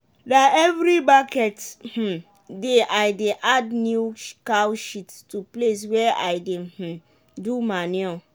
na every market um day i dey add new cow shit to place wey i dey um do manure.